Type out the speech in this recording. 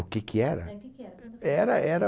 O que que era? É, o que que era? Uhum. Era, era